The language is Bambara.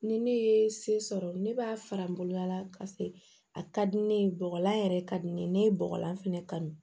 Ni ne ye se sɔrɔ ne b'a fara n boloya la ka se a ka di ne ye bɔgɔlan yɛrɛ ka di ne ye ne ye bɔgɔlan fɛnɛ kanu